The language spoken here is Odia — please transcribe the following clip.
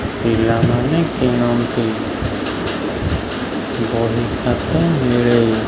ପିଲାମାନେ କିଣନ୍ତି ବହି ଖାତା ମିଳେ।